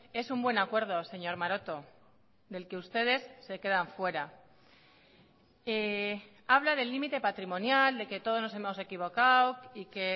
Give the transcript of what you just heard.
es un buen acuerdo señor maroto del que ustedes se quedan fuera habla del límite patrimonial de que todos nos hemos equivocado y que